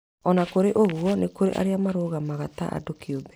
Ona kũrĩ ũguo nĩkũrĩ arĩa marũgamaga ta andũ kiumbe